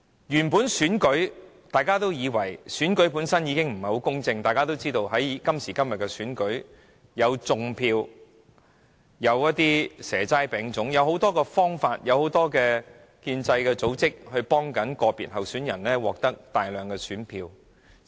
現時進行的選舉，本身已不太公正，因為一如大家所知，在今時今日進行的選舉中，可以採用"種票"、"蛇齋餅粽"等種種方法，以及透過眾多建制組織協助個別候選人獲得大量選票。